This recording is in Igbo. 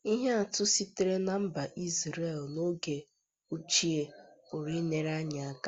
Ihe atụ sitere ná mba Izrel n'oge ochie pụrụ inyere anyị aka.